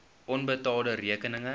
onbetaalde rekeninge